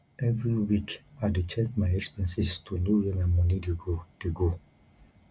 every week i dey check my expenses to know where my money dey go dey go